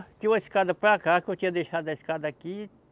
Tinha uma escada para cá, que eu tinha deixado a escada aqui.